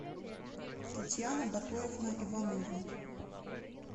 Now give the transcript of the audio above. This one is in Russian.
татьяна батоевна иванова